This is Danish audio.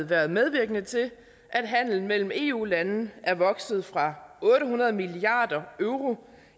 været medvirkende til at handelen mellem eu landene er vokset fra otte hundrede milliard euro